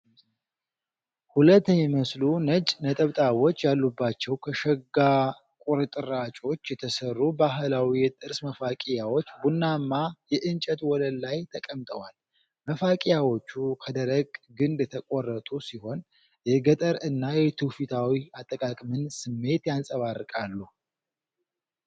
ሁለት የሚመስሉ፣ ነጭ ነጠብጣቦች ያሉባቸው ከሽጋ ቁርጥራጮች የተሰሩ ባህላዊ የጥርስ መፋቂያዎች ቡናማ የእንጨት ወለል ላይ ተቀምጠዋል። መፋቂያዎቹ ከደረቀ ግንድ የተቆረጡ ሲሆን የገጠር እና የትውፊታዊ አጠቃቀምን ስሜት ያንፀባርቃሉ።